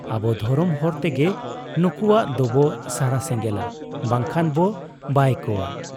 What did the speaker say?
ᱟᱵᱚ ᱫᱷᱚᱨᱚᱢ ᱦᱚᱨ ᱛᱮᱜᱮ ᱱᱩᱠᱩᱣᱟᱜ ᱫᱚᱵᱚ ᱥᱟᱨᱟ ᱥᱮᱸᱜᱮᱞᱟ ᱵᱟᱝᱠᱷᱟᱱ ᱵᱚ ᱵᱟᱭ ᱠᱚᱣᱟ ᱾